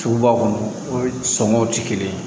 Suguba kɔnɔ sɔngɔw tɛ kelen ye